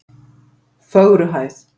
Fögruhæð